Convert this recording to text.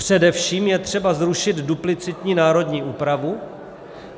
Především je třeba zrušit duplicitní národní úpravu.